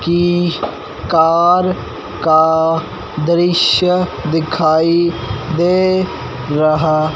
की कार का दृश्य दिखाई दे रहा--